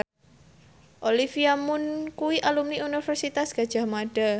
Olivia Munn kuwi alumni Universitas Gadjah Mada